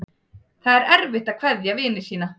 Það er erfitt að kveðja vini sína.